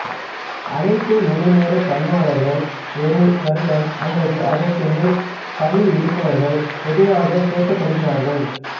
அனைத்து முழு நேர பணியாளர்கள் ஒரு வருடம் அல்லது அதற்கு மேல் பணியிலிருப்பவர்கள் பொதுவாக சேர்க்கப்படுகிறார்கள்